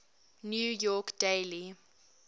new york daily